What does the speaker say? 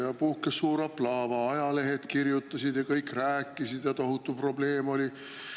Ja puhkes suur aplaava, ajalehed kirjutasid ja kõik rääkisid ja tohutu probleem oli.